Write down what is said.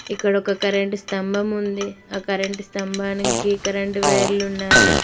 ఇక్కడ ఒక కరెంటు స్తంభం ఉంది ఆ కరెంటు స్తంభానికి కరెంటు వైర్ లు ఉన్నవి.